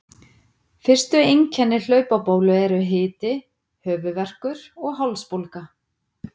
Fyrstu einkenni hlaupabólu eru hiti, höfuðverkur og hálsbólga.